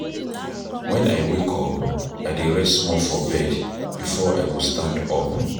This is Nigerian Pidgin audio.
Wen I wake up I dey rest small for bed before I go stand up.